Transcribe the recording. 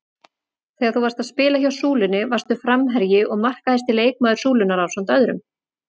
Þegar þú varst að spila hjá Súlunni varstu framherji og markahæsti leikmaður Súlunnar ásamt öðrum?